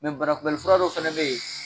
banakunbɛli fura dɔ fɛnɛ be ye